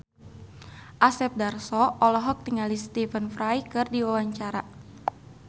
Asep Darso olohok ningali Stephen Fry keur diwawancara